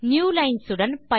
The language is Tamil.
நியூலைன்ஸ் உடன்